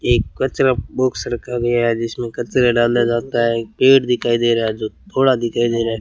एक कचड़ा बॉक्स रखा गया है जिसमें कचड़ा डाला जाता है एक पेड़ दिखाई दे रहा है जो थोड़ा दिखाई दे रहा है।